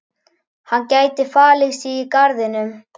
Hann gæti falið sig í garðinum.